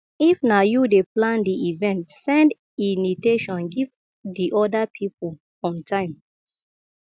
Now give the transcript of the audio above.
if na you dey plan di event send initation give di oda pipo on time